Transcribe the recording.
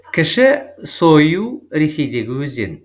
кіші сойю ресейдегі өзен